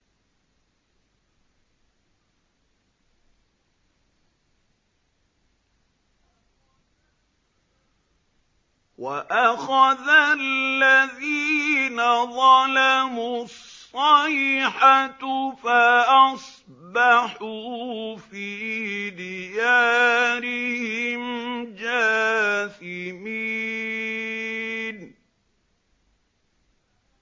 وَأَخَذَ الَّذِينَ ظَلَمُوا الصَّيْحَةُ فَأَصْبَحُوا فِي دِيَارِهِمْ جَاثِمِينَ